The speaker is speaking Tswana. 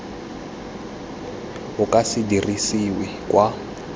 o ka se dirisiwe kwa